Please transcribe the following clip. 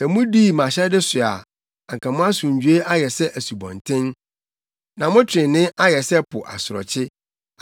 Sɛ mudii mʼahyɛde so a, anka mo asomdwoe ayɛ sɛ asubɔnten, na mo trenee ayɛ sɛ po asorɔkye.